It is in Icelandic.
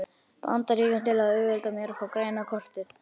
Bandaríkjunum til að auðvelda mér að fá græna kortið.